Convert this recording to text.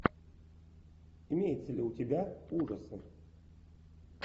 имеется ли у тебя ужасы